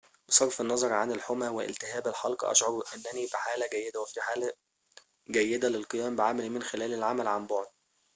بصرف النظر عن الحمى والتهاب الحلق أشعر أنني بحالة جيدة وفي حالة جيدة للقيام بعملي من خلال العمل عن بعد